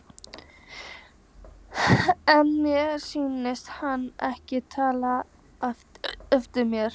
En mér sýndist hann ekki taka eftir mér.